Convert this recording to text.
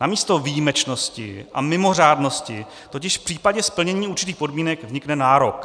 Namísto výjimečnosti a mimořádnosti totiž v případě splnění určitých podmínek vznikne nárok.